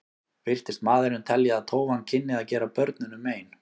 Virtist maðurinn telja að tófan kynni að gera börnunum mein.